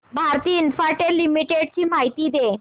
Bharti Infratel limited ची माहिती दे